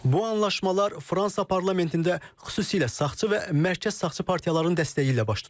Bu anlaşmalar Fransa parlamentində xüsusilə sağçı və mərkəz sağçı partiyaların dəstəyi ilə baş tutub.